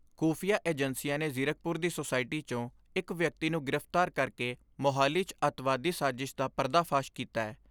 ਖੁਫ਼ੀਆਂ ਏਜੰਸੀਆਂ ਨੇ ਜ਼ੀਰਕਪੁਰ ਦੀ ਸੋਸਾਇਟੀ 'ਚੋਂ ਇਕ ਵਿਅਕਤੀ ਨੂੰ ਗ੍ਰਿਫਤਾਰ ਕਰਕੇ ਮੋਹਾਲੀ 'ਚ ਅੱਤਵਾਦੀ ਸਾਜਿਸ਼ ਦਾ ਪਰਦਾ ਫਾਸ਼ ਕੀਤੈ।